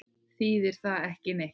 Þýðir það ekki neitt?